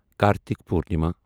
Kartik Purnima